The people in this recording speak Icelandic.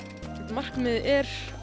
markmiðið er